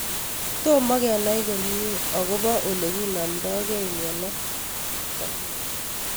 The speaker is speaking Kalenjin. Tomo kenai komie akopo ole kinamdoikei miondo nitok